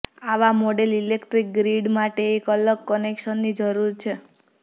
આવા model electric grid માટે એક અલગ કનેક્શનની જરૂર છે